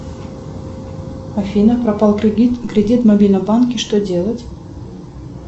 афина пропал кредит в мобильном банке что делать